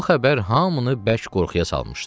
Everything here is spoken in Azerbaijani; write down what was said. Bu xəbər hamını bərk qorxuya salmışdı.